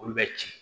Olu bɛ ci